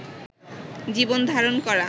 জীবন ধারণ করা